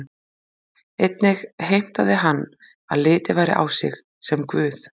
Einnig heimtaði hann að litið væri á sig sem guð.